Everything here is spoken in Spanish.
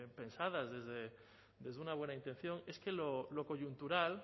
pensadas desde una buena intención es que lo coyuntural